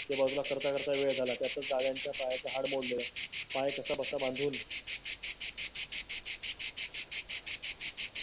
ते बाजूला करता करता वेळ झाला. त्यात त्यांच्या पाया चे हाड मोडले. पाय कसा बसा बांधून.